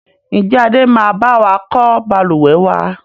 Ń jẹ́ Adé máa bawa kọ́ Balùwẹ́ wàá?